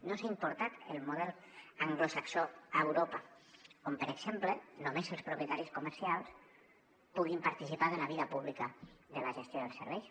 no s’ha importat el model anglosaxó a europa on per exemple només els propietaris comercials puguin participar de la vida pública de la gestió dels serveis